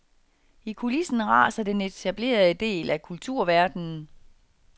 I kulissen raser den etablerede del af kulturverden.